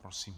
Prosím.